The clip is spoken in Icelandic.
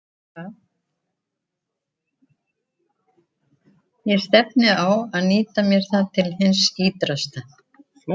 Ég stefni á að nýta mér það til hins ýtrasta.